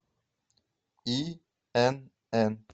инн